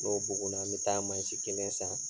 N'o bugunna n be taa mansi kelen san